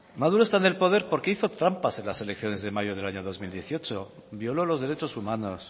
maduro está en el poder porque hizo trampas en las elecciones de mayo del año dos mil dieciocho violó los derechos humanos